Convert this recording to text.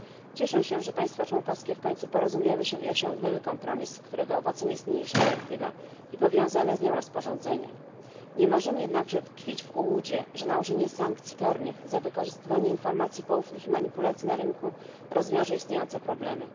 Cieszę się, że państwa członkowskie w końcu porozumiały się i osiągnęły kompromis, którego owocem jest niniejsza dyrektywa i powiązane z nią rozporządzenie. Nie możemy jednakże tkwić w ułudzie, że nałożenie sankcji karnych za wykorzystywanie informacji poufnych i manipulacji na rynku rozwiąże istniejące problemy.